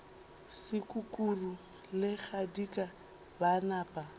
sekukuru le kgadika ba napa